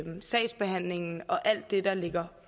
sagsbehandlingen og alt det der ligger